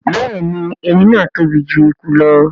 Béèni èrin náa tóbi jù ẹkú lọ.